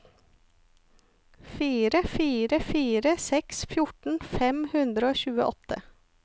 fire fire fire seks fjorten fem hundre og tjueåtte